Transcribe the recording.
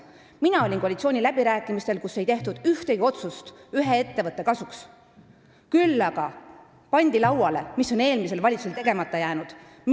Mina osalesin koalitsiooniläbirääkimistel, kus ei tehtud ühtegi otsust ühe ettevõtte kasuks, küll aga pandi lauale see, mis oli eelmisel valitsusel tegemata jäänud.